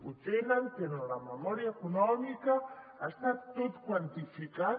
ho tenen tenen la memòria econòmica està tot quantificat